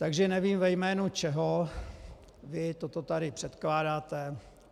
Takže nevím, ve jménu koho vy toto tady předkládáte.